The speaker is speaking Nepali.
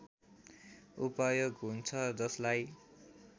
उपयोग हुन्छ जसलाई